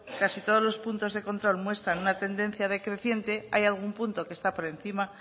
casi todos los puntos de control muestran una tendencia decreciente hay algún punto que está por encima